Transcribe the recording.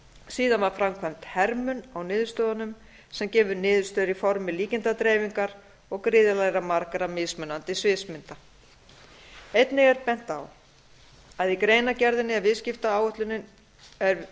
síðan var framkvæmd hermun á niðurstöðunum sem gefur niðurstöður í formi líkindadreifingar og gríðarlega margra mismunandi sviðsmynda einnig er bent er á í greinargerðinni er